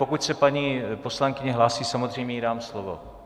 Pokud se paní poslankyně hlásí, samozřejmě jí dám slovo.